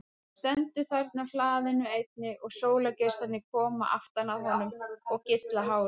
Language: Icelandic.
Hann stendur þarna á hlaðinu einnig og sólargeislarnir koma aftan að honum og gylla hárið.